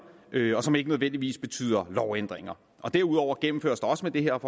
og som ikke nødvendigvis betyder lovændringer derudover gennemføres der også med det her